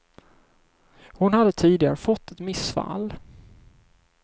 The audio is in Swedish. Hon hade tidigare fått ett missfall.